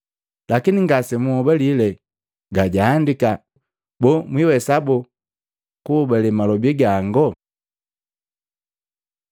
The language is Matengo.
Lakini ngasemwagahobale ga juandiki, boo mwiwesa boo kuhobalee malobi gango?”